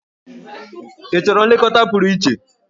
Ị chọrọ nlekọta pụrụ iche?